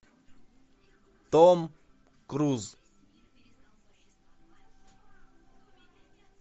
том круз